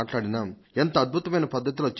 ఎంత అద్భుతమైన పద్ధతిలో చెప్పినా